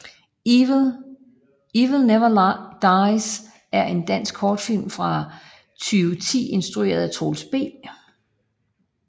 Evil never dies er en dansk kortfilm fra 2010 instrueret af Troels B